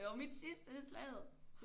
Det var mit sidste Slaget